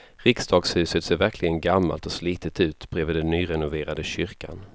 Riksdagshuset ser verkligen gammalt och slitet ut bredvid den nyrenoverade kyrkan.